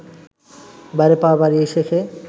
বাইরে পা বাড়িয়েই শেখে